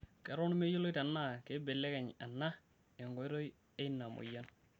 Eton meyioloi tenaa keibelekeny ena enkoitoi eina moyian.